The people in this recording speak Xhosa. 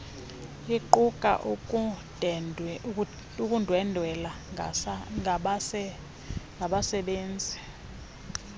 iquka ukundwendwela ngabasebenzi